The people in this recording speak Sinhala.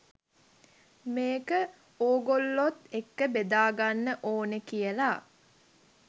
මේක ඕගොල්ලොත් එක්ක බෙදා ගන්න ඕනේ කියලා.